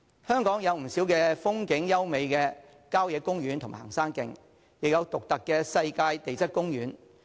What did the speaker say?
香港有不少風景優美的郊野公園和行山徑，亦有獨特的世界地質公園。